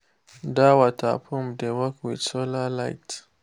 that water pump dey work with solar light.